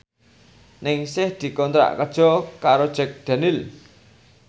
Ningsih dikontrak kerja karo Jack Daniels